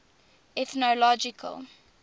ethnological